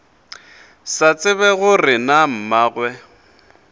sa tsebe gore na mmagwe